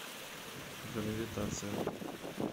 гравитация